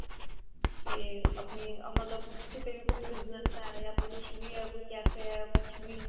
ਤੇ ਆਪਣੀ ਮਤਲਬ ਕਿਤੇ ਵੀ ਕੋਈ business ਹੈ ਯਾ ਫਿਰ ਕੁਛ ਵੀ ਹੈ ਕੋਈ café a ਕੁਛ ਵੀ ਹੈ